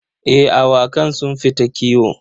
Eh, awakan sun fita kiwo.